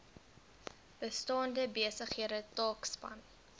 bestaande besighede taakspan